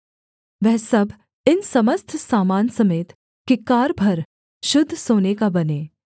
वह सब इन समस्त सामान समेत किक्कार भर शुद्ध सोने का बने